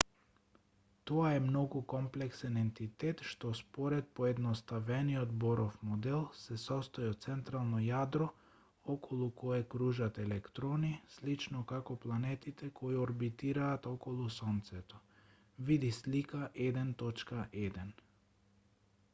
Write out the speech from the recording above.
тоа е многу комплексен ентитет што според поедноставениот боров модел се состои од централно јадро околу кое кружат електорни слично како планетите кои орбитираат околу сонцето види слика 1.1